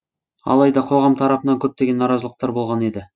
алайда қоғам тарапынан көптеген наразылықтар болған еді